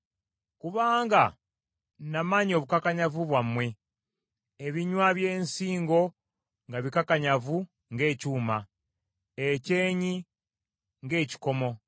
Kubanga namanya obukakanyavu bwammwe; ebinywa by’ensingo nga bikakanyavu ng’ekyuma; ekyenyi ng’ekikomo.